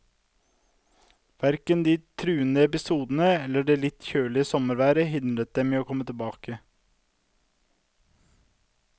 Hverken de truende episodene eller det litt kjølige sommerværet hindrer dem i å komme tilbake.